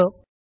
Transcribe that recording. நன்றி